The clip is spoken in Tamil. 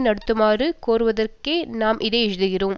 நடத்துமாறு கோருவதற்கே நாம் இதை எழுதுகின்றோம்